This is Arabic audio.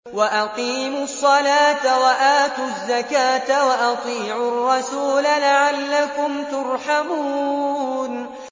وَأَقِيمُوا الصَّلَاةَ وَآتُوا الزَّكَاةَ وَأَطِيعُوا الرَّسُولَ لَعَلَّكُمْ تُرْحَمُونَ